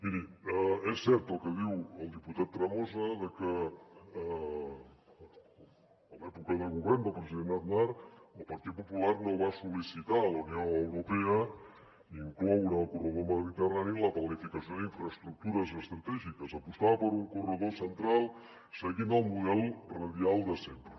miri és cert el que diu el diputat tremosa de que a l’època de govern del president aznar el partit popular no va sol·licitar a la unió europea incloure el corredor mediterrani en la planificació d’infraestructures estratègiques apostava per un corredor central seguint el model radial de sempre